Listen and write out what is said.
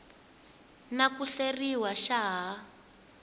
na ku hleriwa xa ha